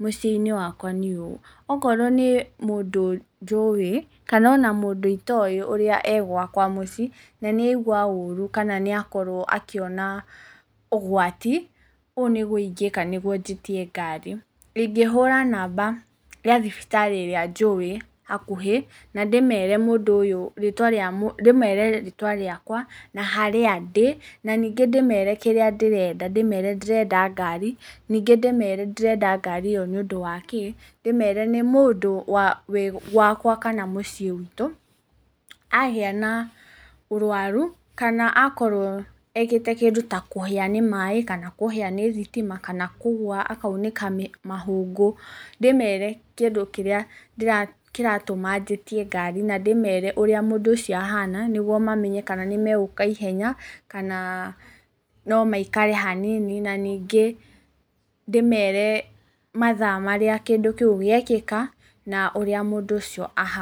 mũciĩ-inĩ wakwa nĩ ũyũ, okorwo nĩ mũndũ njũĩ kana ona mũndũ itoĩ e gwakwa mũci, na nĩ aigua ũru kana nĩ akorwo akĩona ũgwati, ũũ nĩ guo ingĩka nĩ guo njĩtie ngari, ingĩhũra namba ya thibitarĩ ĩrĩa njũĩ hakuhĩ na ndĩmere rĩtwa rĩakwa, na harĩa ndĩ, na ningĩ ndĩmere kĩrĩa ndĩrenda, ndĩmere ndĩrenda ngari, ningĩ ndĩmere ndĩrenda ngari ĩyo nĩ ũndũ wa kĩ, ndĩmere nĩ mũndũ wĩ gwaka kana mũciĩ witũ, agĩa na ũrwaru kana akorwo ekĩte kĩndũ ta kũhĩa nĩ maaĩ, kana kũhĩa nĩ thitima, kana kũgũa akaunĩka mahũngũ, ndĩmere kĩndũ kĩrĩa kĩratũma njĩtie ngari na ndĩmere ũrĩa mũndũ ũcio ahana, nĩ guo mamenye kana nĩ megũka ihenya, kana no maikare hanini, na ningĩ ndĩmere mathaa marĩa kĩndũ kĩu gĩekĩka, na ũrĩa mũndu ũcio ahana.